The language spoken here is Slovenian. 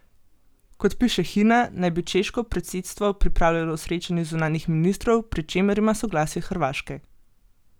Kot piše Hina, naj bi češko predsedstvo pripravljalo srečanje zunanjih ministrov, pri čemer ima soglasje Hrvaške.